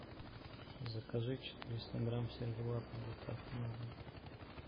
закажи четыреста грамм сервелата с доставкой на дом